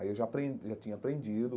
Aí eu já apren já tinha aprendido.